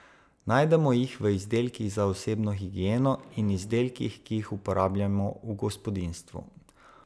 Najdemo jih v izdelkih za osebno higieno in izdelkih, ki jih uporabljamo v gospodinjstvu.